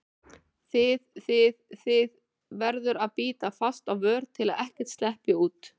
þið þið, þið- verður að bíta fast á vör til að ekkert sleppi út.